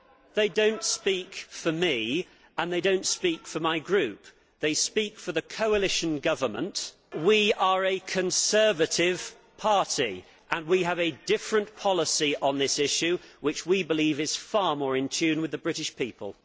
they do not speak for me and they do not speak for my group they speak for the coalition government. We are a Conservative party and we have a different policy on this issue which we believe is far more in tune with the British people.